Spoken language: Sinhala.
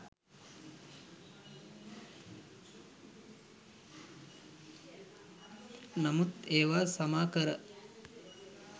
නමුත් ඒවා සමා කර